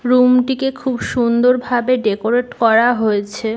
Room -টিকে খুব সুন্দর ভাবে ডেকোরেট করা হয়েছে।